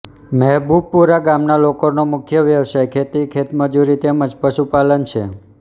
મહેબુબપુરા ગામના લોકોનો મુખ્ય વ્યવસાય ખેતી ખેતમજૂરી તેમ જ પશુપાલન છે